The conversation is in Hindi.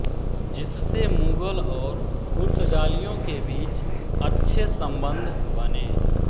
जिससे मुग़ल और पुर्तगालियों के बीच अच्छे सम्बंद बने